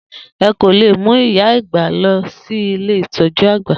E kò lè mú ìyá àgbà lọ si Ilé ìtọ̀jú-àgbà.